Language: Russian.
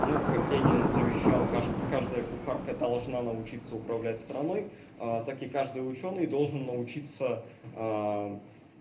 ну как ленин завещал каждая кухарка должна научиться управлять страной так и каждый учёный должен научиться